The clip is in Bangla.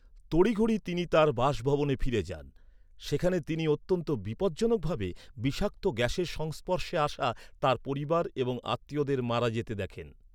তড়িঘড়ি তিনি তাঁর বাসভবনে ফিরে যান। সেখানে তিনি অত্যন্ত বিপজ্জনক ভাবে বিষাক্ত গ্যাসের সংস্পর্শে আসা তাঁর পরিবার এবং আত্মীয়দের মারা যেতে দেখেন।